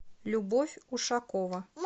любовь ушакова